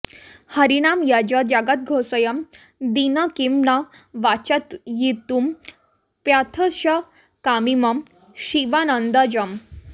हरिनाम यज् जगदघोषयं तेन किं न वाचयितुमप्यथाशकमिमं शिवानन्दजम्